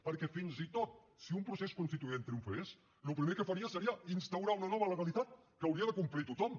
perquè fins i tot si un procés constituent triomfés el primer que faria seria instaurar una nova legalitat que hauria de complir tothom